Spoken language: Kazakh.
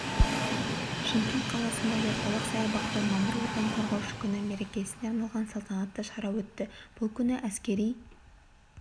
шымкент қаласындағы орталық саябақта мамыр отан қорғаушы күні мерекесіне арналған салтанатты шара өтті бұл күні әскери